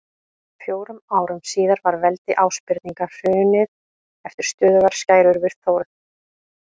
Fjórum árum síðar var veldi Ásbirninga hrunið eftir stöðugar skærur við Þórð.